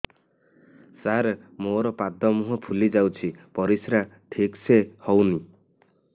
ସାର ମୋରୋ ପାଦ ମୁହଁ ଫୁଲିଯାଉଛି ପରିଶ୍ରା ଠିକ ସେ ହଉନି